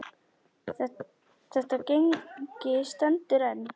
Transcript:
Þetta gengi stendur enn.